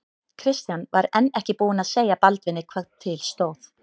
Christian var enn ekki búinn að segja Baldvini hvað til stóð.